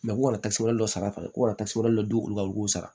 kasa dɔ sara ko ka taa dɔ olu ka u k'o sara